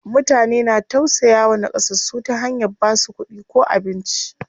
Mutane na tausayawa naƙasassu ta hanyar basu kuɗi ko abinci.